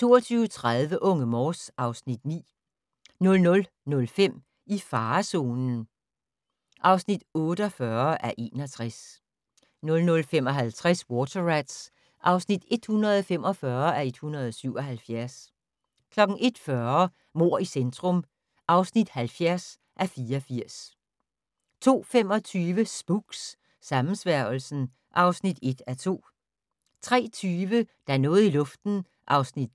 22:30: Unge Morse (Afs. 9) 00:05: I farezonen (48:61) 00:55: Water Rats (145:177) 01:40: Mord i centrum (70:84) 02:25: Spooks: Sammensværgelsen (1:2) 03:20: Der er noget i luften (10:320) 03:45: